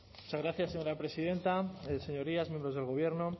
muchas gracias señora presidenta señorías miembros del gobierno